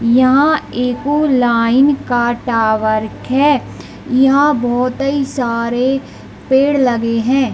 इहाँ एगो लाइन के टॉवर खें इहाँ बहुते सारे पेड़ लगे हैं।